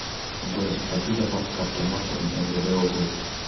джой заплати за фонд кап ремонта мгд области